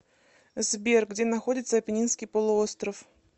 сбер где находится апеннинский полуостров